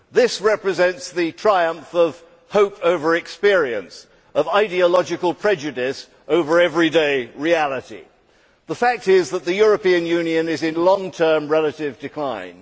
This represents the triumph of hope over experience, of ideological prejudice over everyday reality. The fact is that the European Union is in long term relative decline.